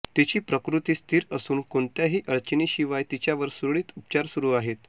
तिची प्रकृती स्थिर असून कोणत्याही अडचणींशिवाय तिच्यावर सुरळीत उपचार सुरू आहेत